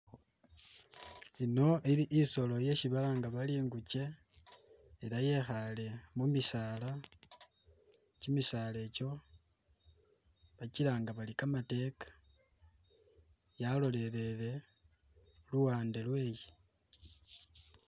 Ino ili'isolo ishi balanga bari ingukye ela yekhale mumisala kyimisalekyo bakyilanga bari kamatekka yalolelele luwande lweyii